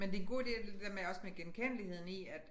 Men det en god ide at det der med også med genkendeligheden i at